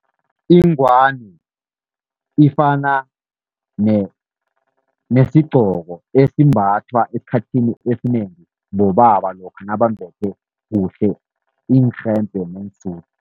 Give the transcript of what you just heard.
Ingwani ifana nesigqoko esimbathwa esikhathini esinengi bobaba lokha nabambethe kuhle iinrhembe neensudu.